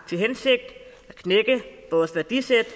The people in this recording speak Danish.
til hensigt at knække vores værdisæt